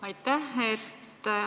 Aitäh!